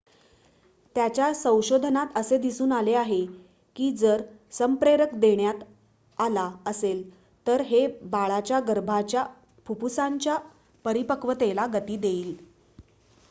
त्याच्या संशोधनात असे दिसून आले आहे की जर संप्रेरक देण्यात आला असेल तर हे बाळाच्या गर्भाच्या फुफ्फुसांच्या परिपक्वतेला गती देईल